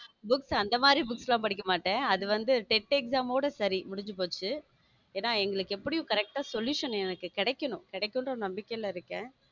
Books அந்த மாதிரி books எல்லாம் படிக்க மாட்டேன் அது வந்து டெட் exam ஓட சரி முடிஞ்சு போச்சு ஏன்னா எங்களுக்கு எப்படியும் correct ஆ solution கிடைக்கணும் கிடைக்கும்னு நம்பிக்கைல இருக்கேன்.